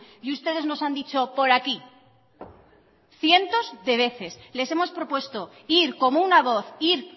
y ustedes nos han dicho por aquí cientos de veces les hemos propuesto ir como una voz ir